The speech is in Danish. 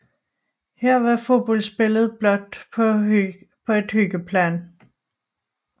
Her var fodboldspillet blot på et hyggeplan